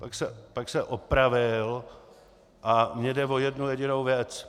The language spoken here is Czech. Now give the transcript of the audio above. Pak se opravil, a mně jde o jednu jedinou věc.